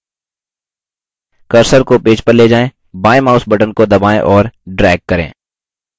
cursor को page पर ले जाएँ बायेंmouse button को दबाएँ और drag करें